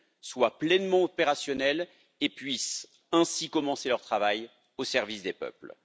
soient pleinement opérationnelles et puissent ainsi commencer leur travail au service des peuples.